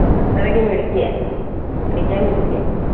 അത്രയ്ക്കും മിടുക്കിയ, പഠിക്കാൻ മിടുക്കിയ.